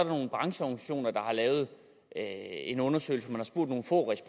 nogle brancheorganisationer der har lavet en en undersøgelse hvor